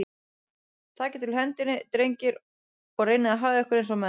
Takið til hendinni, drengir, og reynið að haga ykkur eins og menn.